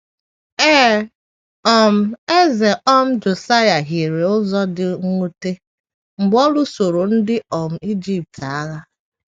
Ee, um Eze um Josaịa hiere ụzọ dị mwute mgbe ọ lụsoro ndị um Ijipt agha.